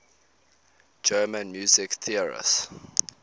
german music theorists